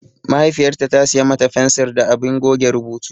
Mahaifiyarta ta siya mata fensir da abin goge rubutu.